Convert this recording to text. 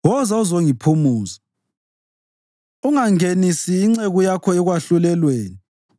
Ungangenisi inceku yakho ekwahlulelweni, ngoba kakho ophilayo ongabe ulungile kuwe.